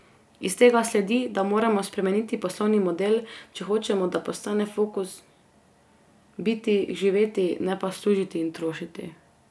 Iz tega sledi, da moramo spremeniti poslovni model, če hočemo, da postane fokus biti, živeti, ne pa služiti in trošiti.